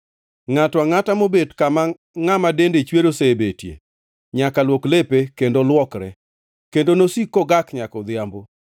Ngʼato angʼata mobet kama ngʼama dende chwer osebetie, nyaka luok lepe kendo luokre, kendo nosik kogak nyaka odhiambo.